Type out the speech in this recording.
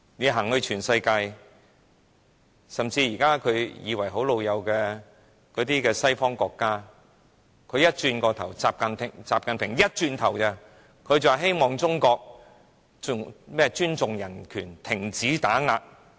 習近平曾出訪世界多國，包括一些看來與中國很友好的西方國家；當習近平一離開，這些國家便表示希望中國尊重人權，停止打壓異見人士。